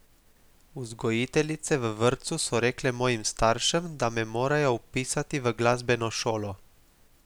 Vzgojiteljice v vrtcu so rekle mojim staršem, da me morajo vpisati v glasbeno šolo.